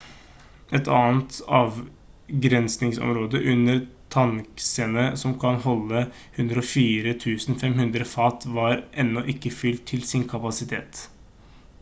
et annet avgrensningsområde under tanksene som kan holde 104 500 fat var ennå ikke fylt til sin kapasitet